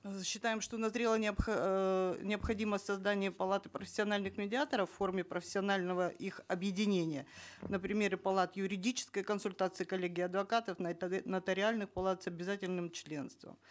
э считаем что назрела эээ необходимость создания палаты профессиональных медиаторов в форме профессионального их объединения на примере палат юридической консультации коллегии адвокатов нотариальной палате с обязательным членством